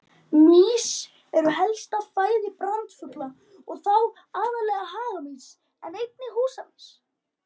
Mýs eru helsta fæða brandugla og þá aðallega hagamýs en einnig húsamýs.